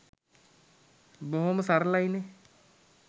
බොහොම සරලයි නේ